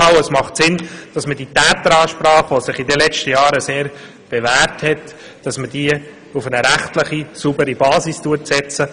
Und es macht Sinn, dass wir dieser «Täteransprache», die sich in den letzten Jahren sehr bewährt hat, auch eine rechtlich saubere Basis geben.